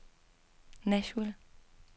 Nashville